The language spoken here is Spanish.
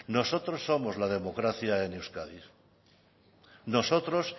nosotros somos la democracia en euskadi nosotros